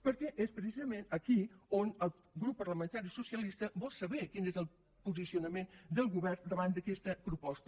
perquè és precisament aquí on el grup parlamentari socialista vol saber quin és el posicionament del govern davant d’aquesta proposta